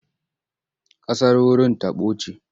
Ƙasar wurin taɓo ce.